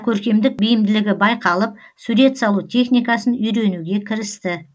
көркемдік бейімділігі байқалып сурет салу техникасын үйренуге кірісті